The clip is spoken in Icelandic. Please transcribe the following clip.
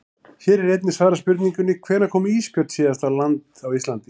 Hér er einnig svarað spurningunum: Hvenær kom ísbjörn síðast á land á Íslandi?